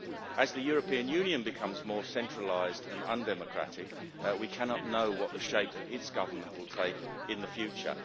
As the European Union becomes more centralised and undemocratic, we cannot know what the shape of its government will take in the future.